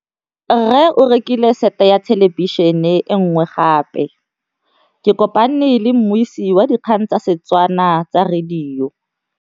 Rre o rekile sete ya thêlêbišênê e nngwe gape. Ke kopane mmuisi w dikgang tsa radio tsa Setswana.